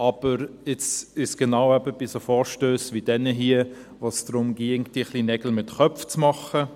Aber jetzt geht es genau bei solchen Vorstössen wie diesem hier, darum, Nägel mit Köpfen zu machen.